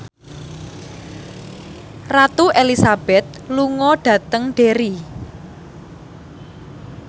Ratu Elizabeth lunga dhateng Derry